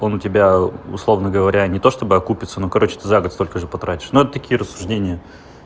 он у тебя условно говоря не то чтобы окупится ну короче ты загод столько же потратишь ну это такие рассуждения